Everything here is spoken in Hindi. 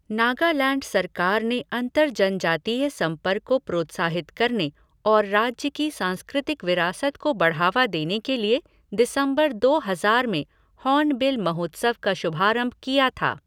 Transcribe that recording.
नागालैंड सरकार ने अंतर जनजातीय संपर्क को प्रोत्साहित करने और राज्य की सांस्कृतिक विरासत को बढ़ावा देने के लिए दिसंबर दो हजार में हॉर्नबिल महोत्सव का शुभारंभ किया था।